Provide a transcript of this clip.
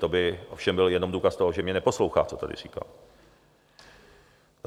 To by ovšem byl jenom důkaz toho, že mě neposlouchá, co tady říkám.